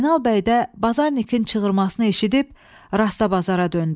Zeynal bəy də Bazarnikin çığırmasını eşidib rastbazara döndü.